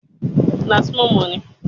Mo rí Ádárì ilé ẹ̀kọ́ gíga ní àná.